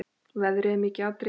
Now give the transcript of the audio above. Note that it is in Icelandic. Veðrið er mikið atriði.